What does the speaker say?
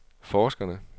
forskerne